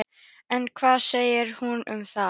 En hvað segir hún um það?